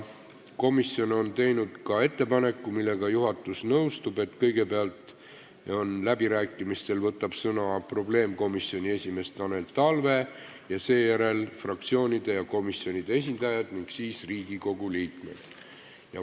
Komisjon on teinud ettepaneku, millega juhatus nõustub, et kõigepealt võtab läbirääkimistel sõna probleemkomisjoni esimees Tanel Talve, seejärel saavad sõna fraktsioonide ja komisjonide esindajad ning siis Riigikogu liikmed.